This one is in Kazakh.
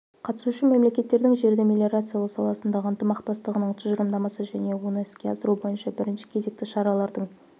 қатысушы мемлекеттердің жерді мелиорациялау саласындағы ынтымақтастығының тұжырымдамасы және оны іске асыру бойынша бірінші кезекті шаралардың